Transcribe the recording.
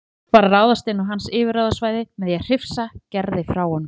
Þorgeir var að ráðast inn á hans yfirráðasvæði með því að hrifsa Gerði frá honum.